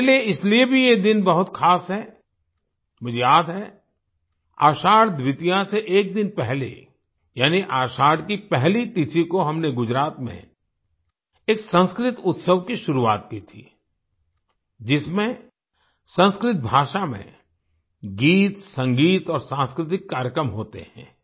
मेरे लिए इसलिए भी ये दिन बहुत खास है मुझे याद है आषाढ़ द्वितीया से एक दिन पहले यानी आषाढ़ की पहली तिथि को हमने गुजरात में एक संस्कृत उत्सव की शुरुआत की थी जिसमें संस्कृत भाषा में गीतसंगीत और सांस्कृतिक कार्यक्रम होते हैं